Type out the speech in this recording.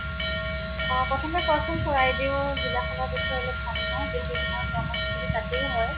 অʼ । প্ৰথমে কোৱাচোন চৰাইদেউ জিলা খনৰ বিষয়ে জানি লও যিহাতু তোমাৰ কৰ্মস্থ্লী তাতে হয়।